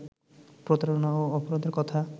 প্রতারণা ও অপরাধের কথা